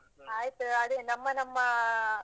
ಆಯ್ತು ಅದೇ, ನಮ್ಮ ನಮ್ಮ.